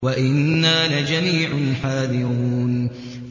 وَإِنَّا لَجَمِيعٌ حَاذِرُونَ